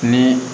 Ni